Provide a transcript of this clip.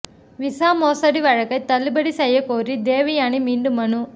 visa மோசடி வழக்கை தள்ளுபடி செய்யக்கோரி தேவயானி மீண்டும் மனு